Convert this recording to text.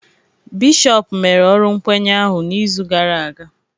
Bishọp mere ọrụ nkwenye ahụ n'izu gara aga